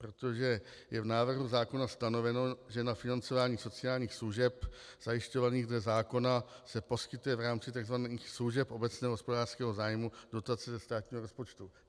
Protože je v návrhu zákona stanoveno, že na financování sociálních služeb zajišťovaných dle zákona se poskytuje v rámci takzvaných služeb obecného hospodářského zájmu dotace ze státního rozpočtu.